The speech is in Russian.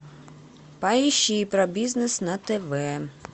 поищи про бизнес на тв